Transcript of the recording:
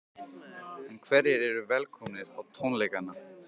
En hverjir eru velkomnir á tónleikana?